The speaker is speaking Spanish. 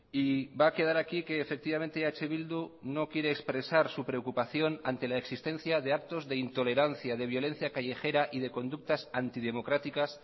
y va a quedar aquí que efectivamente eh bildu no quiere expresar su preocupación ante la existencia de actos de intolerancia de violencia callejera y de conductas antidemocráticas